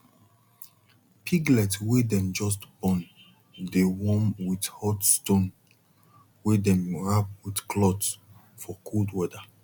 piglet wey dem just born dey warm with hot stone wey dem wrap with cloth for cold weather